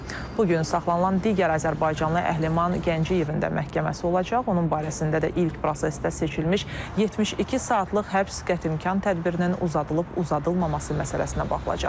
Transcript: Bu gün saxlanılan digər azərbaycanlı Əhliman Gəncəyevin də məhkəməsi olacaq, onun barəsində də ilk prosesdə seçilmiş 72 saatlıq həbs qətimkan tədbirinin uzadılıb-uzadılmaması məsələsinə baxılacaq.